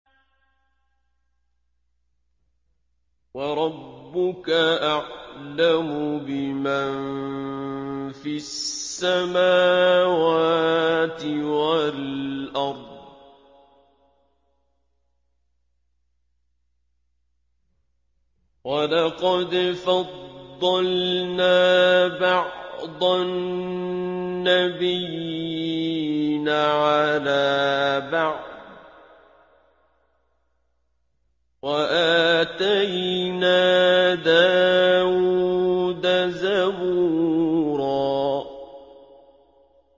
وَرَبُّكَ أَعْلَمُ بِمَن فِي السَّمَاوَاتِ وَالْأَرْضِ ۗ وَلَقَدْ فَضَّلْنَا بَعْضَ النَّبِيِّينَ عَلَىٰ بَعْضٍ ۖ وَآتَيْنَا دَاوُودَ زَبُورًا